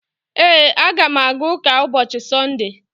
Ee, a ga m aga ụka ụbọchị Sọnde